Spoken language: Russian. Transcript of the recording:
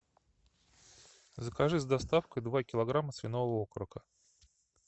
закажи с доставкой два килограмма свиного окорока